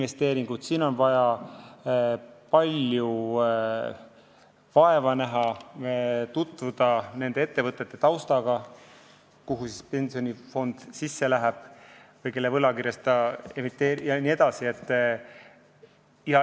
Siin on vaja palju vaeva näha, on vaja tutvuda nende ettevõtete taustaga, kuhu pensionifond investeerib või kelle võlakirju ta emiteerib jne.